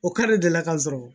O k'ale delila ka n sɔrɔ